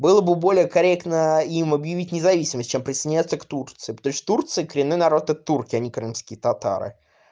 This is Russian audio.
было бы более корректно им объявить независимость чем приснятся к турции потому что в турции коренные народ это турки а не крымские татары